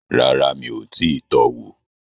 Rárá, mi ò tíì tọ wò